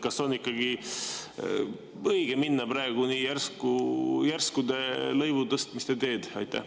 Kas on ikka õige minna praegu nii järskude lõivutõstmiste teed?